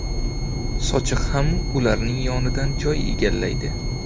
Sochiq ham ularning yonidan joy egallaydi.